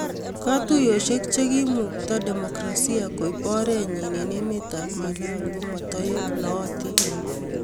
kutuyosiek chegiimukta demokrasia koip oret nyin en emet ap malawi komatoek ,nootin